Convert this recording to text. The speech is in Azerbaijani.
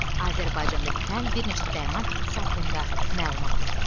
Azərbaycanda bitən bir neçə dərman bitkisi haqqında məlumat topla.